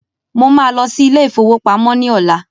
Mo ma lọ sí ilé ìfowópamọ́ ní ọ̀la